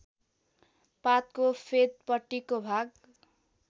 पातको फेदपट्टिको भाग